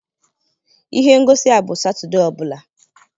Ihe ngosi a bụ Satọde ọ bụla